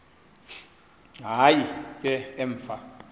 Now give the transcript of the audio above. hayi ke emva